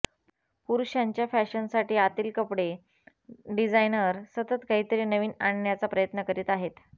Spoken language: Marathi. पुरुषांच्या फॅशनसाठी आतील कपडे डिझाईनर सतत काहीतरी नवीन आणण्याचा प्रयत्न करीत आहेत